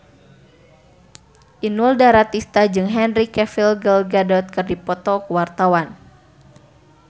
Inul Daratista jeung Henry Cavill Gal Gadot keur dipoto ku wartawan